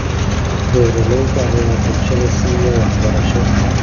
Beeralayda ayaa bulshada siiya waxbarasho.